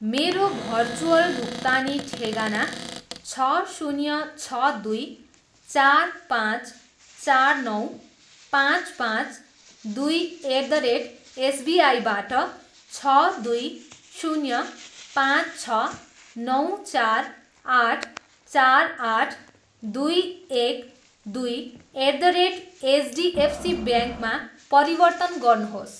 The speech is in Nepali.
मेरो भर्चुअल भुक्तानी ठेगाना छ, शून्य, छ, दुई, चार, पाँच, चार, नौ, पाँच, पाँच, दुई, एट द रेट एसबिआईबाट छ, दुई, शून्य, पाँच, छ, नौ, चार, आठ, चार, आठ, दुई, एक, दुई एट द रेट एचडिएफसी ब्याङ्कमा परिवर्तन गर्नुहोस्।